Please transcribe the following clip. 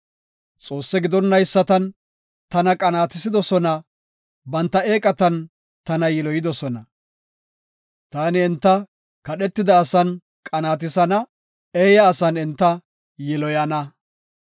Xoosse gidonaysatan tana qanaatisidosona; banta eeqatan tana yiloyidosona. Taani enta kadhetida asan qanaatisana; eeya asan enta yiloyana.